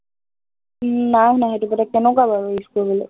উম নাই শুনা সেইটো product কেনেকুৱা বাৰু use কৰিবলে?